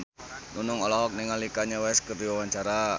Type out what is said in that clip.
Nunung olohok ningali Kanye West keur diwawancara